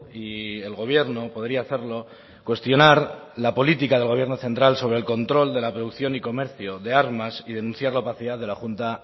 y el gobierno podría hacerlo cuestionar la política del gobierno central sobre el control de la producción y comercio de armas y denunciar la opacidad de la junta